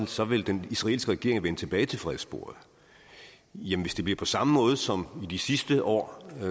så vil den israelske regering vende tilbage til fredssporet jamen hvis det bliver på samme måde som i de sidste år er